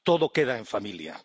Todo queda en familia.